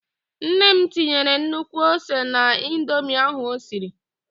Nne m tinyere nnukwu ose n'indomi ahụ osiri.